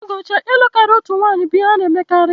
N'oge ochie ịlụ karịa otu nwanyị bụ ihe a na-emekarị.